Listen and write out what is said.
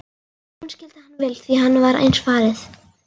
Hún skildi hann vel því henni var eins farið.